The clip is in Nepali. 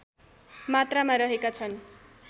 मात्रामा रहेका छन्